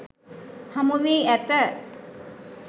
හමුවී ඇත.